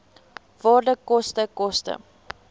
waarde koste koste